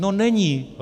No není.